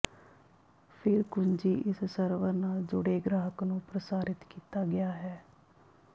ਫਿਰ ਕੁੰਜੀ ਇਸ ਸਰਵਰ ਨਾਲ ਜੁੜੇ ਗਾਹਕ ਨੂੰ ਪ੍ਰਸਾਰਿਤ ਕੀਤਾ ਗਿਆ ਹੈ